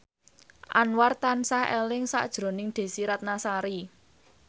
Anwar tansah eling sakjroning Desy Ratnasari